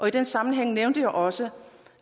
i den sammenhæng nævnte jeg også